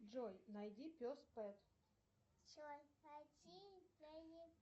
джой найди пес пэт